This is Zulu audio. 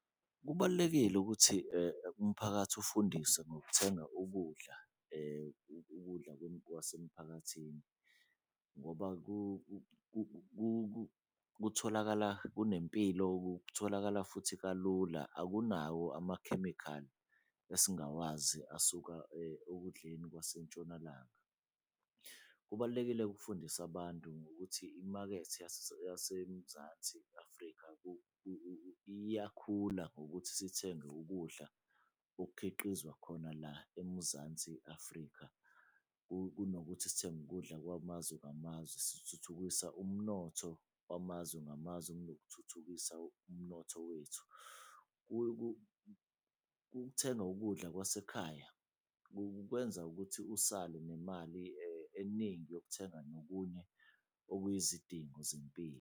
Kubalulekile ukuthi umphakathi ufundiswe ngokuthenga ukudla, ukudla kwasemphakathini ngoba kutholakala kunempilo, kutholakala futhi kalula akunawo amakhemikhali esingawazi asuka okudleni kwaseNtshonalanga. Kubalulekile-ke ukufundisa abantu ngokuthi imakethe yaseMzansi Afrika iyakhula ngokuthi sithenge ukudla okukhiqizwa khona la eMuzansi Afrika. Kunokuthi sithenge ukudla kwamazwe ngamazwe, sikuthuthukisa umnotho wamazwe ngamazwe kunokuthuthukisa umnotho wethu. Ukuthenga ukudla kwasekhaya kukwenza ukuthi usale nemali eningi yokuthenga nokunye okuyizidingo zempilo.